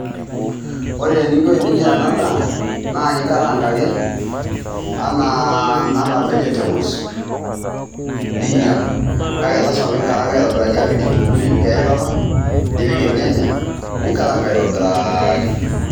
Ore ninko eninyaa ena ndaa naa inkaranga ake anaa vegetables ninyaa kaake lazima pee inkaranga aitobiraki , apik kitunguu, nimpik eilata, nimpik ilnyanya , ninkaranga aitobiraki.